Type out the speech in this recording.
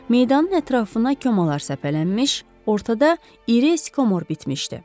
Meydanın ətrafına kmalar səpələnmiş, ortada iri eskomor bitmişdi.